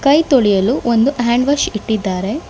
ಕೈ ತೊಳೆಯಲು ಒಂದು ಹ್ಯಾಂಡ್ ವಾಷ್ ಇಟ್ಟಿದ್ದಾರೆ.